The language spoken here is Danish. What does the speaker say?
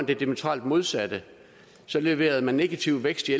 det diametralt modsatte så leverede man negativ vækst i